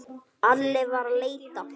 Alli var að leita.